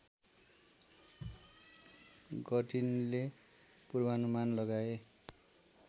गर्टिनले पूर्वानुमान लगाए